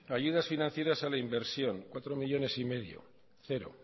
ayudas financieras a la inversión cuatro coma cinco cero